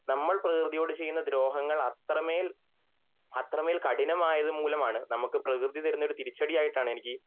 നമ്മൾ പ്രകൃതിയോട് ചെയ്യുന്ന ദ്രോഹങ്ങൾ അത്രമേൽ അത്രമേൽ കഠിനമായതുമൂലം ആണ് നമക്ക് പ്രെകൃതി തരുന്ന തിരിച്ചടി ആയിട്ട് ആണ്